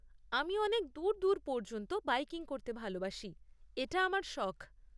আমি অনেক দূর দূর পর্যন্ত বাইকিং করতে ভালবাসি, এটা আমার শখ।